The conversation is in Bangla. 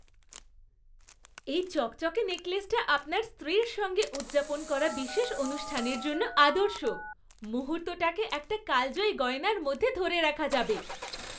এই চকচকে নেকলেসটা আপনার স্ত্রীর সঙ্গে উদযাপন করা বিশেষ অনুষ্ঠানের জন্য আদর্শ, মুহূর্তটাকে একটা কালজয়ী গয়নার মধ্যে ধরে রাখা যাবে।